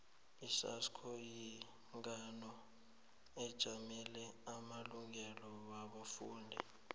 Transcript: isasco yihlangano ejamele amalungelo wabafundi